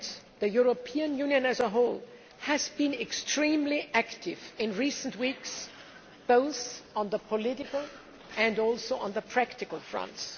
The European Union as a whole has been extremely active in recent weeks both on the political and practical fronts.